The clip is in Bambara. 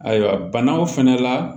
Ayiwa banaw fɛnɛ la